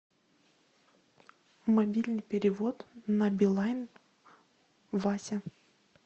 мобильный перевод на билайн вася